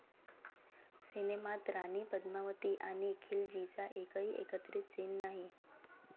सिनेमात राणी पद्मावती आणि खिलजीचा एकही एकत्रित सीन नाही!